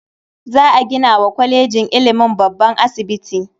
Za a gina wa kwalejin ilimin babban asibiti.